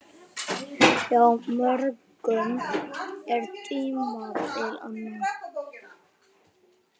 Hjá mörgum er tímabil anna.